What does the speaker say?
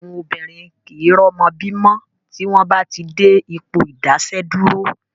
Àwọn obìnrin kìí rọ́mọ bí mọ́ tí wọ́n bá ti dé Ipò ìdáààsẹ̀dúró